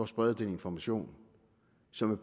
sprede den information som